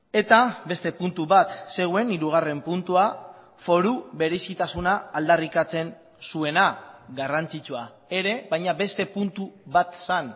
eta beste puntu bat zegoen hirugarren puntua foru berezitasuna aldarrikatzen zuena garrantzitsua ere baina beste puntu bat zen